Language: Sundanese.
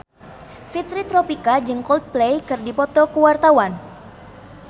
Fitri Tropika jeung Coldplay keur dipoto ku wartawan